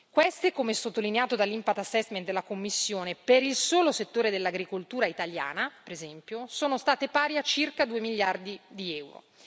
Queste, come sottolineato dall' impact assessment della Commissione per il solo settore dell'agricoltura italiana, per esempio, sono state pari a circa 2 miliardi di euro.